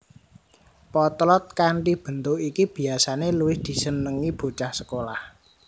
Potlot kanthi bentuk iki biyasané luwih disenengi bocah sekolah